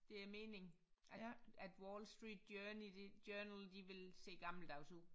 Det er mening at at Wall Street journey de journal de vil se gammeldags ud